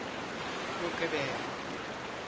moqebelo